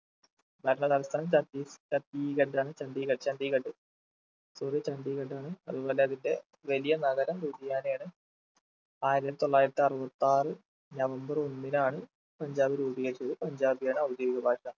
ഭരണ തലസ്ഥാനം ചത്തീസ്‌ ചത്തീഗഡ്‌ ആണ് ചന്തീഗഢ് ചന്തീഗഢ് sorry ചണ്ഡീഗഢ് ആണ് അതുപോലെ അതിന്റെ വലിയ നഗരം വിജയാലയ ആണ് ആയിരത്തിത്തൊള്ളായിരത്തി അറുപത്താറ് നവംബർ ഒന്നിനാണ് പഞ്ചാബ് രൂപീകരിച്ചത് പഞ്ചാബിയാണ് ഔദ്യോഗിക ഭാഷ